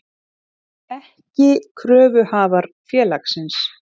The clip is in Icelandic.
ekki kröfuhafar félagsins.